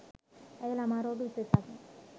ඇය ළමා රෝග විශේෂඥ